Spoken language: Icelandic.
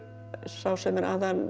sá sem er